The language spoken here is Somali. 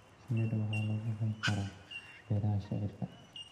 Shinida waxaa lagu hayn karaa beeraha shaciirka.